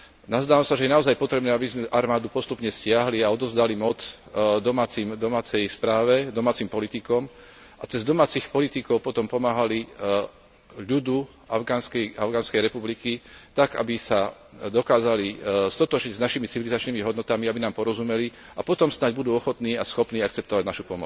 Nazdávam sa, že je naozaj potrebné, aby sme armádu postupne stiahli a odovzdali moc domácej správe, domácim politikom a cez domácich politikov potom pomáhali ľudu Afganskej republiky tak, aby sa dokázali stotožniť s našimi civilizačnými hodnotami, aby nám porozumeli, a potom snáď budú ochotní a schopní akceptovať našu